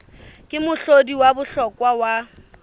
ke mohlodi wa bohlokwa wa